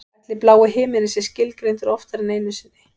Ætli blái himininn sé skilgreindur oftar en einu sinni?